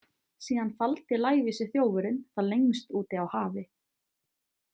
Síðan faldi lævísi þjófurinn það lengst úti á hafi.